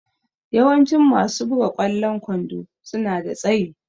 Yawancin masu buga ƙwallon kwando suna da tsayi.